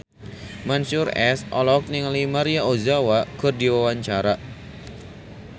Mansyur S olohok ningali Maria Ozawa keur diwawancara